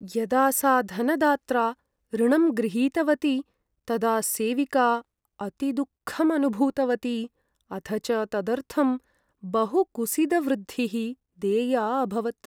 यदा सा धनदात्रा ऋणं गृहीतवती तदा सेविका अतिदुःखम् अनुभूतवती अथ च तदर्थं बहुकुसीदवृद्धिः देया अभवत्।